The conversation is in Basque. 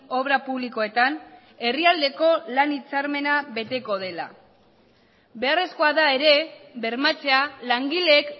obra publikoetan herrialdeko lan hitzarmena beteko dela beharrezkoa da ere bermatzea langileek